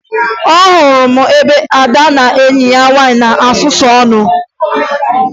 Ahụrụ m ebe Ada na enyi ya nwaanyị na-esusu ọnụ